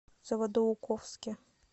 заводоуковске